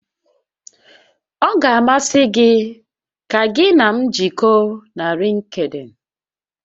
Ọ ga-amasị gị ka gị na m jikọọ na Lịnkdịn?